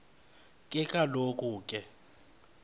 ke kaloku ke